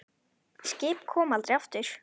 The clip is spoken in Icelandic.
Skip koma aldrei aftur.